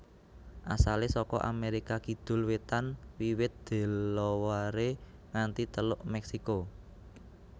Asalé saka Amérika kidul wétan wiwit Delaware nganti Teluk Meksiko